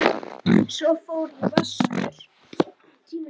Svo fór ég vestur.